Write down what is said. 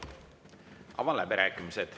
Avan läbirääkimised.